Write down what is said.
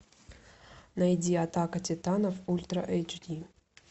найди атака титанов ультра эйч ди